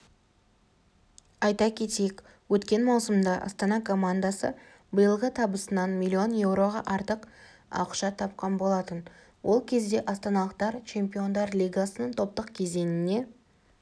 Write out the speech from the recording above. айта кетейік өткен маусымда астана командасы биылғы табысынан млн еуроға артық ақша тапқан болатын ол кезде астаналықтар чемпиондар лигасының топтық кезеңіне